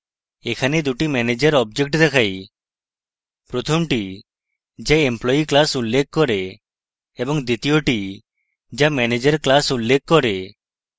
এখানে দুটি manager অবজেক্টের দেখাই: